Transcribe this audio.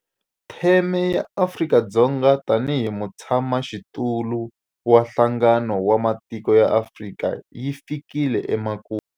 Theme ya Afrika-Dzonga tanihi mutshamaxitulu wa Nhlangano wa Matiko ya Afrika yi fikile emakumu.